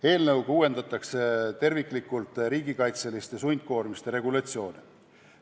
Eelnõuga uuendatakse terviklikult riigikaitseliste sundkoormiste regulatsiooni.